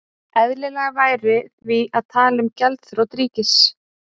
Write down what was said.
Eðlilegra væri því að tala um gjaldþrot ríkis.